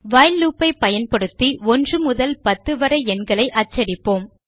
while loop ஐ பயன்படுத்தி 1 முதல் 10 வரை எண்களை அச்சடிப்போம்